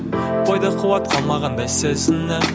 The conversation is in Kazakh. бойда қуат қалмағандай сезінемін